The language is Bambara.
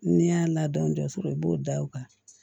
N'i y'a ladon so i b'o da o kan